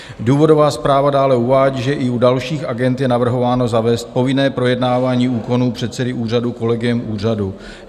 Důvodová zpráva dále uvádí, že i u dalších agend je navrhováno zavést povinné projednávání úkonů předsedy úřadu kolegiem úřadu.